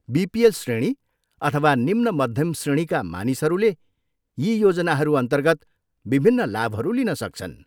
BPL श्रेणी अथवा निम्न मध्यम् श्रेणीका मानिसहरूले यी योजनाहरूअन्तर्गत विभिन्न लाभहरू लिन सक्छन्।